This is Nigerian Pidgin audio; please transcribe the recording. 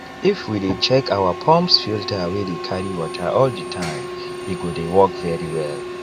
if we dey check our pumps filter wey dey carry water all the timee go dey work very well